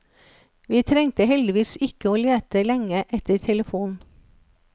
Vi trengte heldigvis ikke å lete lenge etter telefon.